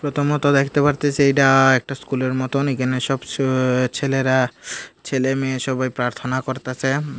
প্রথমত দেখতে পারতেসি এইটা একটা স্কুলের মত এখানে সব চ ছেলেরা ছেলে-মেয়ে সবাই প্রার্থনা করতাসে।